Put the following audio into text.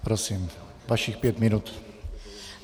Prosím, vašich pět minut.